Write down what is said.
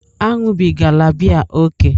Aṅụbigala biya ókè!